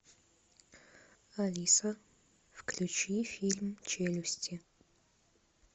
алиса включи фильм челюсти